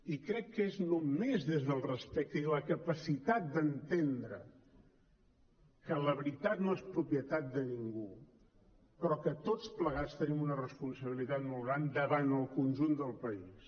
i crec que és només des del respecte i la capacitat d’entendre que la veritat no és propietat de ningú però que tots plegats tenim una responsabilitat molt gran davant el conjunt del país